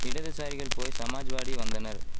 இடதுசாரிகள் போய் சமாஜ்வாடி வந்தனர்